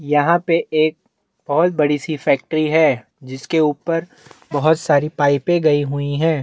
यहाँ पे एक बहोत बड़ी सी फैक्ट्री है जिसके ऊपर बहोत सारी पाइपे गयी हुयी है।